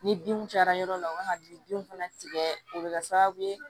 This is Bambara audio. Ni binw cayara yɔrɔ la ka bin fana tigɛ o bɛ kɛ sababu ye